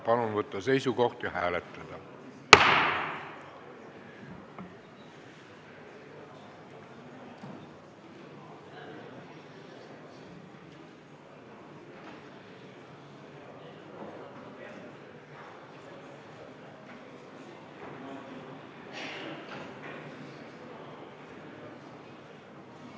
Palun võtta seisukoht ja hääletada!